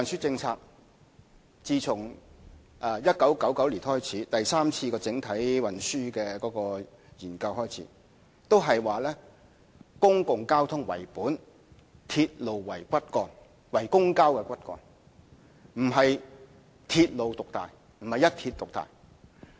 自1999年第三次整體運輸研究開始，政府的運輸政策是以"公共交通為本，鐵路為公共交通骨幹"，而並非鐵路獨大，並非一鐵獨大。